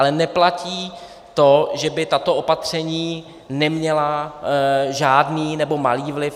Ale neplatí to, že by tato opatření neměla žádný nebo malý vliv.